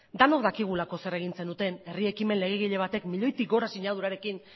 denok dakigu zer egin zenuten herri ekimen legegile batek milioitik gora sinadurarekin